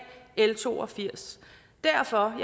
l to og firs derfor er